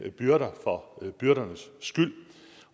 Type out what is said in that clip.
byrder for byrdernes skyld